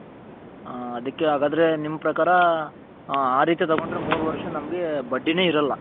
ಅದಿಕೆ ಅಗದ್ರೆ ನಿಮ್ಮ ಪ್ರಕಾರ ಆ ರೀತಿ ತಗೊಂಡ್ರೆ ಮೂರ್ ವರ್ಷ ನಮ್ಮಗೆ ಬಡ್ಡಿ ನೆ ಇರಲ್ಲ